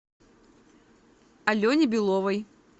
алене беловой